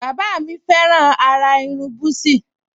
Bàbá mi fẹ́ràn àrà irun búsí